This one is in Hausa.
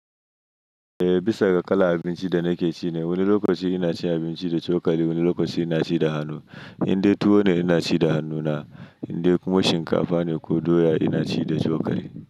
Eh, bisa ga kalan abinci da nake ci ne. Wani lokaci ina cin abinci da cokali, wani lokaci ina ci da hannu. Indai tuwo ne ina ci da hannuna, indai kuma shinkafa ne ko doya ina ci da cokali.